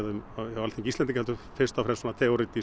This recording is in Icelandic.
um á Alþingi Íslendinga heldur fyrst og fremst svona